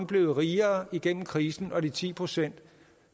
blevet rigere igennem krisen og de ti procent